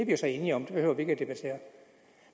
jo så enige om det behøver vi ikke at debattere